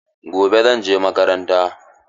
Gobe zan je makaranta.